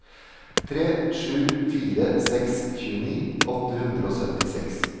tre sju fire seks tjueni åtte hundre og syttiseks